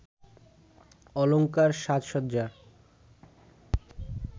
অলঙ্কার সাজসজ্জার